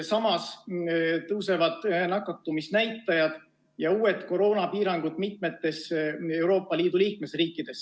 Samas tõusevad nakatumisnäitajad ja uusi koroonapiiranguid mitmes Euroopa Liidu liikmesriigis.